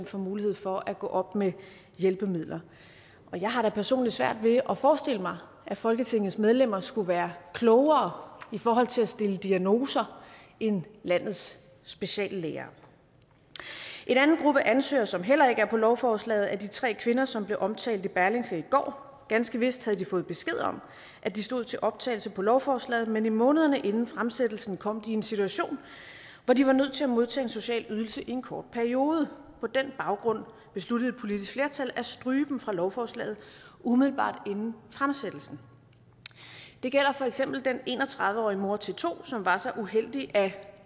får mulighed for at gå op med hjælpemidler jeg har da personligt svært ved at forestille mig at folketingets medlemmer skulle være klogere i forhold til at stille diagnoser end landets speciallæger en anden gruppe ansøgere som heller ikke er på lovforslaget er de tre kvinder som blev omtalt i berlingske i går ganske vist havde de fået besked om at de stod til optagelse på lovforslaget men i månederne inden fremsættelsen kom de i en situation hvor de var nødt til at modtage en social ydelse i en kort periode på den baggrund besluttede et politisk flertal at stryge dem fra lovforslaget umiddelbart inden fremsættelsen det gælder for eksempel den en og tredive årige mor til to som var så uheldig at